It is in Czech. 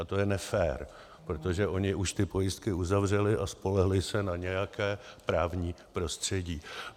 A to je nefér, protože oni už ty pojistky uzavřeli a spolehli se na nějaké právní prostředí.